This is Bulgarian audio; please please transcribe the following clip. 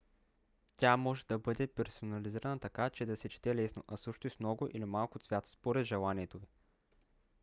тя може да бъде персонализирана така че да се чете лесно а също и с много или малко цвят според желанието ви